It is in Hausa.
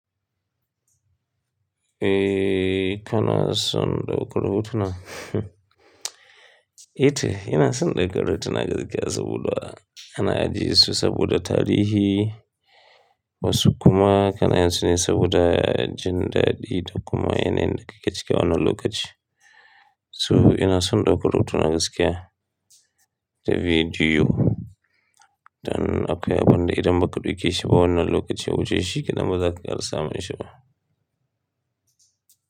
Eh, kana son ɗaukar hotuna? Ito ina son ɗaukar hotuna gaskiya saboda ana ajiye su saboda tarihi wasu kuma kana yin su ne saboda jin daɗi da kuma yanayin da ke cike wannan lokaci. So ina son ɗaukar hotuna gaskiya da bidiyo don akwai abin da idan ba ka ɗauke shi ba wannan lokacin wuce shi, ki na baza ka iya samun shi ba.